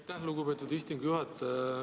Aitäh, lugupeetud istungi juhataja!